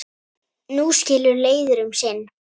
Nú skilur leiðir um sinn.